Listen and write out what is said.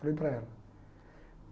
Falei para ela.